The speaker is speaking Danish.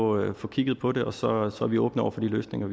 og få kigget på det og så er så er vi åbne over for de løsninger